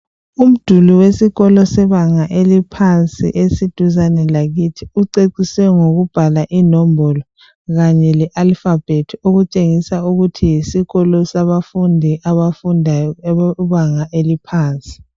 Umduli wesikolo webanga eliphansi uceciswe ngokubhala inombolo Kanye le Alphabet okutshengisa ukuthi yisikolo sabafundi abafundayo abebanga eliphansi